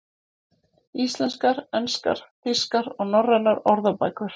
Íslenskar, enskar, þýskar og norrænar orðabækur.